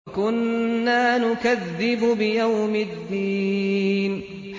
وَكُنَّا نُكَذِّبُ بِيَوْمِ الدِّينِ